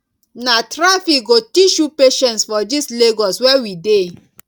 na traffic go teach you patience for dis lagos wey we dey